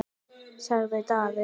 sagði Daði.